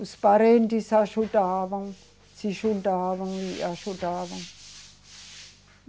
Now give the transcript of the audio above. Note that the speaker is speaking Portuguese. Os parentes ajudavam, se juntavam e ajudavam.